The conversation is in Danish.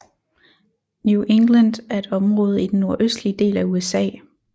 New England er et område i den nordøstlige del af USA